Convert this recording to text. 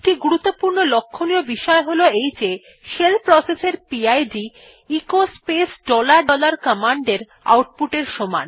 একটি গুরুত্বপূর্ণ লক্ষ্যনীয় বিষয় হল শেল প্রসেস এর PID echo space dollar dollar command এর আউটপুট এর সমান